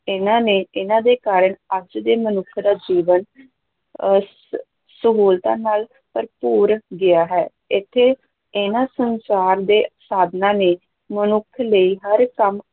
ਇਨ੍ਹਾਂ ਨੇ ਇਹਨਾਂ ਦੇ ਕਾਰਨ ਅੱਜ ਦੇ ਮਨੁੱਖ ਦਾ ਜੀਵਨ ਅਹ ਸਹੂਲਤਾਂ ਨਾਲ ਭਰਪੂਰ ਗਿਆ ਹੈ, ਇੱਥੇ ਇਹਨਾਂ ਸੰਚਾਰ ਦੇ ਸਾਧਨਾਂ ਨੇ ਮਨੁੱਖ ਲਈ ਹਰ ਕੰਮ